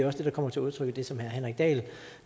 også det der kommer til udtryk i det som herre henrik dahl